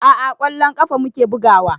A'a ƙwallon ƙafa muke bugawa